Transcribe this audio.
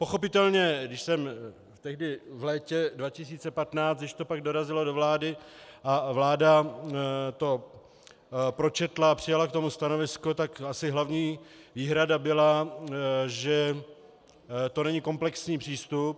Pochopitelně když jsem tehdy v létě 2015, když to pak dorazilo do vlády a vláda to pročetla a přijala k tomu stanovisko, tak asi hlavní výhrada byla, že to není komplexní přístup.